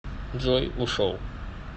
джой ушел